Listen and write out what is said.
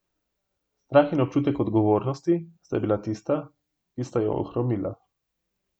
Strah in občutek odgovornosti sta bila tista, ki sta jo hromila.